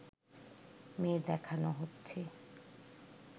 মেয়ে দেখানো হচ্ছে